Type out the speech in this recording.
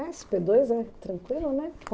dois é tranquilo, né?